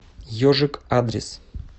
ежик адрес